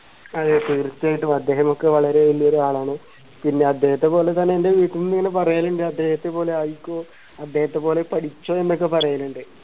അതെ തീർച്ചയായിട്ടും അദ്ദേഹമൊക്കെ വളരെ വലിയ ഒരാളാണ് പിന്നെ അദ്ദേഹത്തെ പോലെ തന്നെ എൻറെ വീട്ടിന്നും ഇങ്ങനെ പറയലുണ്ട് അദ്ദേഹത്തെ പോലെ ആയിക്കോ അദ്ദേഹത്തെ പോലെ പഠിച്ചോ എന്നൊക്കെ പറയലുണ്ട്